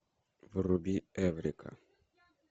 вруби эврика